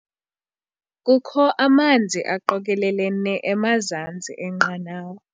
Kukho amanzi aqokelelene emazantsi enqanawa.